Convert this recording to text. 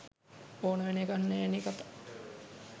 ඕන වෙන එකක් නෑ නේ කකා